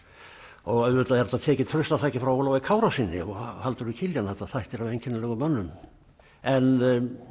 og auðvitað er þetta tekið traustataki frá Ólafi Kárasyni og Halldóri Kiljan þetta þættir af einkennilegum mönnum en